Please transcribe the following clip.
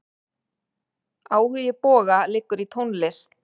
Áhugi Boga liggur í tónlist.